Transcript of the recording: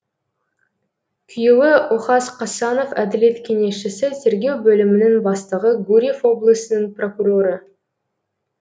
күйеуі охас қасанов әділет кеңесшісі тергеу бөлімінің бастығы гурьев облысының прокуроры